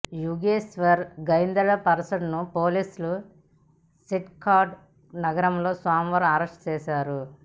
యుగేశ్వర్ గైన్దర్పెర్సాడ్ను పోలీసులు షెనెక్టాడి నగరంలో సోమవారం అరెస్ట్ చేశారు